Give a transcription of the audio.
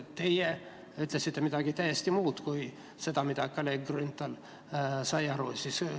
Teie ütlesite midagi täiesti muud kui seda, mida kolleeg Grünthal aru oli saanud.